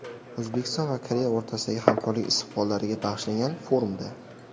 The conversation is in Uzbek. O‘zbekiston va Koreya o‘rtasidagi hamkorlik istiqbollariga bag‘ishlangan forumda.